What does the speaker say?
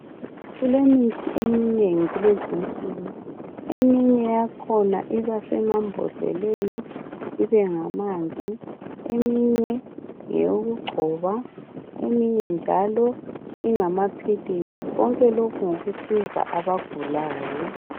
Kulemithi eminengi kulezinsuku, eminye yakhona iba semambodleleni ibe ngamanzi, eminye ngeyokugcoba, eminye njalo ngama philisi konke lokhu ngokusiza abagulayo.